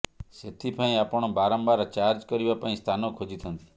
ସେଥିପାଇଁ ଆପଣ ବାରମ୍ବାର ଚାର୍ଜ କରିବା ପାଇଁ ସ୍ଥାନ ଖୋଜିଥାନ୍ତି